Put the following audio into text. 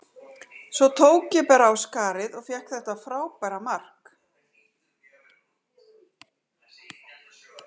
Svo tók ég bara á skarið og fékk þetta frábæra mark.,